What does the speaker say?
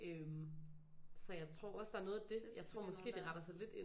Øh så jeg tror også der er noget af det jeg tror måske det retter sig lidt ind